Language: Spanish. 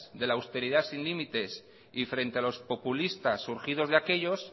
de la austeridad sin límites y frente a los populistas surgidos de aquellos